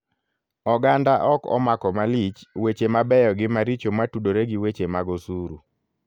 Oganda ok omako malich weche mabeyo gi maricho matudore gi weche mag osuru.